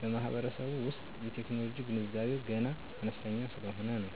በማህበረሰቡ ዉሰጥ የቴክኖሎጂ ገንዛቤዉ ገና አነስተኛ ሰለሆነ ነው።